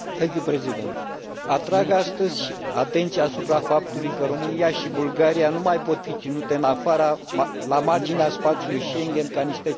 Atrag astăzi atenția asupra faptului că România și Bulgaria nu mai pot fi ținute la marginea spațiului Schengen, ca niște țări de mâna a doua.